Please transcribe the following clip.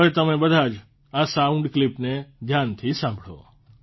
હવે તમે બધા જ આ સાઉન્ડ ક્લીપને ધ્યાનથી સાંભળો